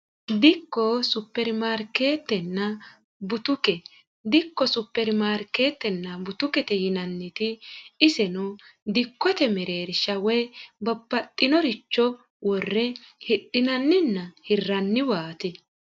Dikko, supermarkeetenna butike. Dikko, supermarkeetenna butukete yinanniti iseno dikkote mereerisha woy babbaxino richo worre hidhinannina hirraniwaato.